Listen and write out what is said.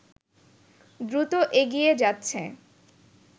দ্রুত এগিয়ে যাচ্ছে